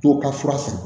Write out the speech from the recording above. To ka fura san